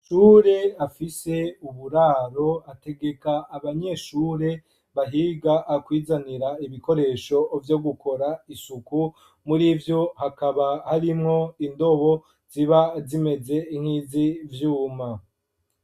Ishure afise uburaro ategeka abanyeshure bahiga kwizanira ibikoresho vyo gukora isuku, muri vyo hakaba harimwo indobo ziba zimeze nk'izi vyuma.